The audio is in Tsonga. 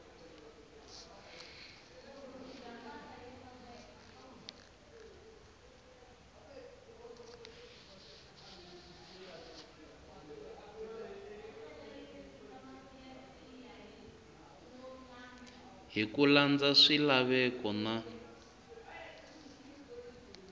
hi ku landza swilaveko na